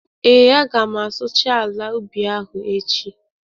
Ee, Aga m asụcha ala ubi ahụ echi